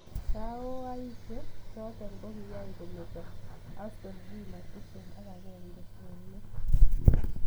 Baoishe choto ko kiyay kometa Aston Villa tiptem ak akenge eng let.